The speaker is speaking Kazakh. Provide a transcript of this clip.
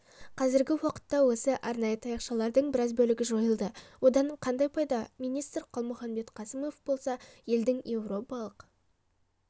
қазіргі уақытта осы арнайы таяқшалардың біраз бөлігі жойылды одан қандай пайда министрқалмұханбет қасымов болса елдің еуропалық